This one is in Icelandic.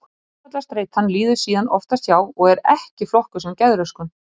Áfallastreitan líður síðan oftast hjá og er ekki flokkuð sem geðröskun.